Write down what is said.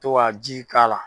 To ka ji k'a la.